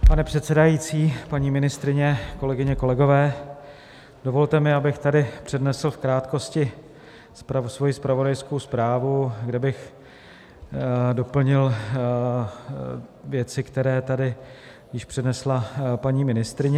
Pane předsedající, paní ministryně, kolegyně, kolegové, dovolte mi, abych tady přednesl v krátkosti svoji zpravodajskou zprávu, kde bych doplnil věci, které tady již přednesla paní ministryně.